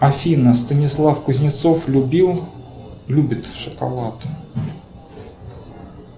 афина станислав кузнецов любил любит шоколад